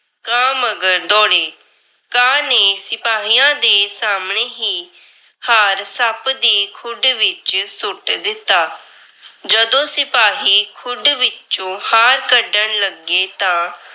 ਕਾਂ ਮੰਗਰ ਦੌੜੇ, ਕਾਂ ਨੇ ਸਿਪਾਹੀਆਂ ਦੇ ਸਾਹਮਣੇ ਹੀ ਹਾਰ ਸੱਪ ਦੀ ਖੁੱਡ ਵਿੱਚ ਸੁੱਟ ਦਿੱਤਾ। ਜਦੋਂ ਸਿਪਾਹੀ ਖੁੱਡ ਵਿੱਚੋ ਹਾਰ ਕੱਢਣ ਲੱਗੇ ਤਾਂ